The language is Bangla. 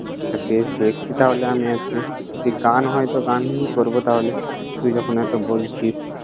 আচ্ছা বেশ, দেখছি তাহলে আমি আজকে। দে গান হয়তো গানই করব তাহলে। তুই যখন এতো বলছিস।